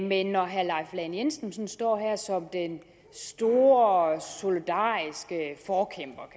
men når herre leif lahn jensen sådan står her som den store solidariske forkæmper